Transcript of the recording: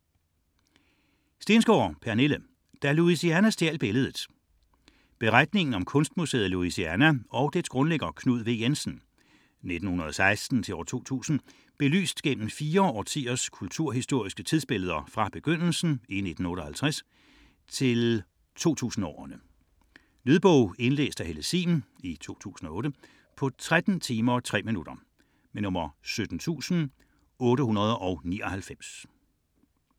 70.86 Stensgaard, Pernille: Da Louisiana stjal billedet Beretningen om kunstmuseet Louisiana og dets grundlægger Knud W. Jensen (1916-2000), belyst gennem fem årtiers kulturhistoriske tidsbilleder fra begyndelsen i 1958 til 2000'erne. Lydbog 17899 Indlæst af Helle Sihm, 2008. Spilletid: 13 timer, 3 minutter.